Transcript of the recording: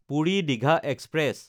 Puri-Digha express